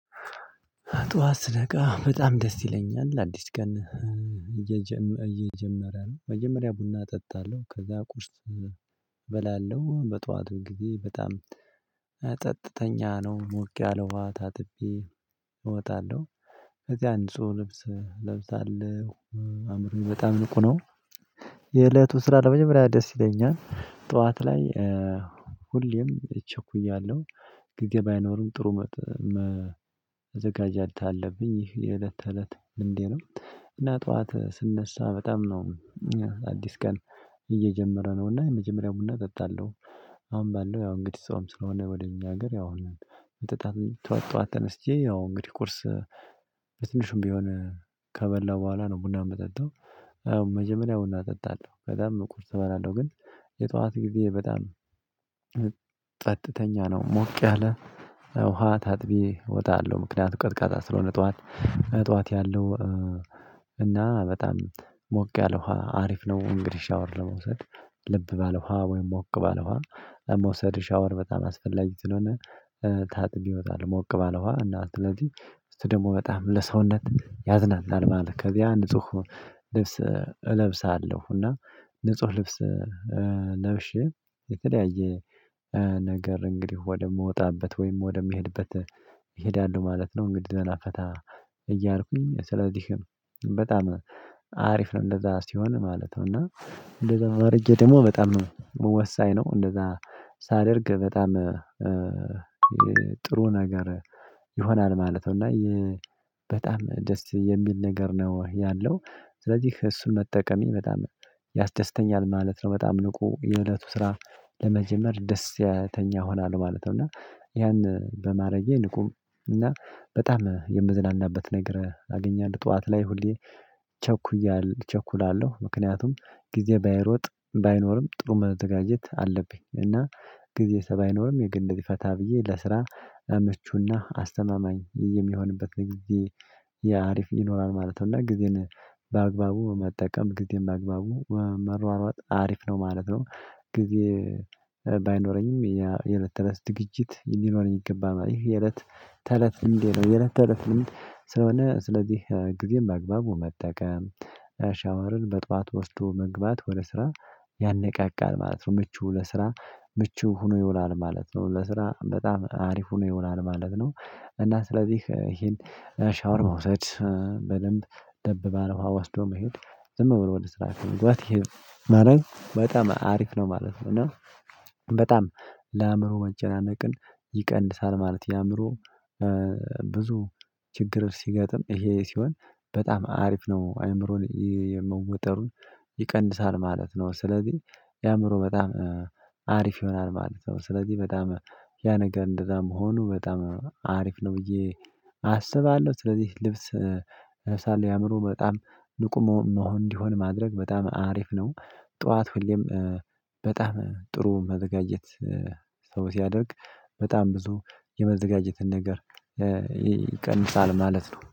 ጠዋት ስነቃ በጣም ደስ ይለኛል አዲስ ቀን እየጀመረ ነው መጀመሪያ ቡና እጠጣለሁ ከዛ ቁርስ እበላለሁ በጧቱ ጊዜ በጣም ፀጥተኛ ነው ሞቅ ያለ ውሃ ታጥቤ እወጣለሁ። ከዚያ የአንድ ሰው ልብስ እለብሳለሁ አእምሮዬ በጣም ንቁ ነው። የእለቱ ስራ ለመጀመሪያ ደስ ይለኛል ጠዋት ላይ ሁሌም ቸኩያለሁ ጊዜ ባይኖርም ጥሩ መዘጋጀት አለብኝ ይህ የእለት ተእለት ልምዴ ነው። እና ጠዋት ስነሳ በጣም ነው። አዲስ ቀን እየጀመረ ነውና የመጀመሪያ ቡና እጠጣለሁ። አሁን ባለው ያው እንግዲህ ጾም ስለሆነ ወደ እኛ ሀገር ያው ጠዋት ጠዋት ተነስቼ ያው እንግዲህ ቁርስ በትንሹም ቢሆን ከበላሁ በኋላ ነው ቡና የምጠጣው። መጀመሪያ ቡና እጠጣለሁ ከዛም ቁርስ እበላለሁ ግን የጠዋት ጊዜ በጣም ፀጥተኛ ነው። ሞቅ ያለ ውሃ ታጥቤ እወጣለሁ ምክንያቱም ቀዝቃዛ ስለሆነ ጠዋት ጠዋት ያለው እና በጣም ሞቅ ያለ ውሃ አሪፍ ነው። እንግዲህ ሻወር ለመውሰድ ለብ ባለ ውሃ ወይም ሞቅ ባለ ውሃ መውሰድ ሻወር በጣም አስፈላጊ ስለሆነ። ታጥቤ እወጣለሁ ሞቅ ባለ ውሃ እና ስለዚህ እሱ ደግሞ በጣም ለሰውነት ያዝናናል ማለት ከዚያ ንጹህ ልብስ እለብሳለሁ። እና ንጹህ ልብስ ለብሼ የተለያየ ነገር እንግዲህ ወደምወጣበት ወይም ወደምሄድበት ይሄዳሉ ማለት ነው። እንግዲህ ዘና ፈታ እያልኩኝ ስለዚህ በጣም አሪፍ ነው። እንደዛ ሲሆን ማለት ነው እና እንደዛ አድርጌ ደግሞ በጣም ወሳኝ ነው። እንደዛ ሳደርግ በጣም ጥሩ ነገር ይሆናል ማለት ነው። እና በጣም ደስ የሚል ነገር ነው ያለው ስለዚህ እሱን መጠቀሜ በጣም ያስደስተኛል ማለት ነው። በጣም ንቁ የእለቱ ስራ ለመጀመር ደስተኛ እሆናለሁ ማለት ነው። እና ያን በማረጌ ንቁ እና በጣም የምዝናናበት ነገር አገኛለሁ። ጠዋት ላይ ሁሌ ቸኩያለሁ እቸኩላለሁ ምክንያቱም ጊዜ ባይሮጥ ባይኖርም ጥሩ መዘጋጀት አለብኝ። እና ጊዜሳ ባይኖርም የግድ እንደዚህ ፈታ ብዬ ለስራ ምቹና አስተማማኝ የሚሆንበት ጊዜ አሪፍ ይኖራል ማለት ነው። እና ጊዜን በአግባቡ መጠቀም ጊዜን በአግባቡ መሯሯጥ አሪፍ ነው ማለት ነው። ጊዜ የእለት ተእለት ዝግጅት ሊኖረኝ ይገባል ይህ የእለት ተእለት ልምዴ ነው። የእለት ተእለት ልምድ ስለሆነ ስለዚህ ጊዜን በአግባቡ መጠቀም ሻወርን በጧት ወስዶ መግባት ወደ ስራ ያነቃቃል ማለት ነው። ምቹ ለስራ ምቹ ሆኖ ይውላል ማለት ነው። ለስራ በጣም አሪፍ ሆኖ ይውላል ማለት ነው። እና ስለዚህ ይሄን ሻወር መውሰድ በደንብ ለብ ውሃ ወስዶ መሄድ ዝም ብሎ ወደ ስራ ከመግባት ይሄን ማድረግ በጣም አሪፍ ነው ማለት ነው። እና በጣም ለአእምሮ መጨናነቅን ይቀንሳል ማለት። የአእምሮ ብዙ ችግር ሲገጥም ይሄ ሲሆን በጣም አሪፍ ነው አእምሮን የመወጠሩን ይቀንሳል ማለት ነው። ስለዚህ ለአእምሮ በጣም አሪፍ ይሆናል ማለት ነው። ስለዚህ በጣም ያ ነገር እንደዛ መሆኑ በጣም አሪፍ ነው ብዬ አስባለሁ። ስለዚህ ልብስ የአእምሮ በጣም ንቁ መሆን እንዲሆን ማድረግ በጣም አሪፍ ነው። ጠዋት ሁሌም በጣም ጥሩ መዘጋጀት ሰው ሲያደርግ በጣም ብዙ የመዘጋጀትን ነገር ይቀንሳል ማለት ነው